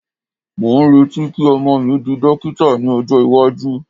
mo n reti ki ọmọ mi di dókítà ní ọjọ iwaju